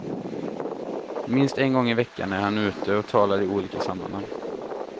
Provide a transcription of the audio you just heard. Minst en gång i veckan är han ute och talar i olika sammanhang.